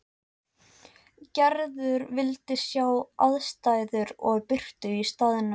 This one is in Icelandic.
Gerður vildi sjá aðstæður og birtu á staðnum.